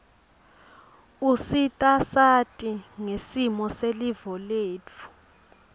usita siati ngesimo selive letfu